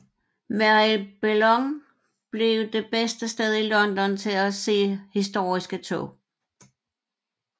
Marylebone blev det bedste sted i London til at se historiske tog